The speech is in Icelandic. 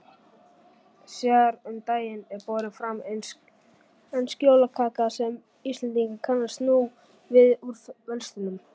Síðar um daginn er borin fram ensk jólakaka sem Íslendingar kannast nú við úr verslunum.